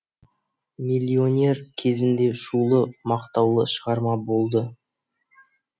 миллионер кезінде шулы мақтаулы шығарма болды